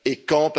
et quand?